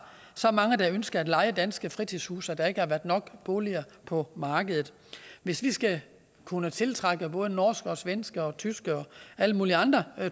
så mange der ønsker at leje danske fritidshuse at der ikke har været nok boliger på markedet hvis vi skal kunne tiltrække både norske svenske og tyske og alle mulige andre